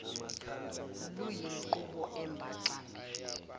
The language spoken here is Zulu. luyinqubo embaxa mbili